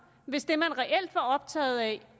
hvis det man reelt var optaget af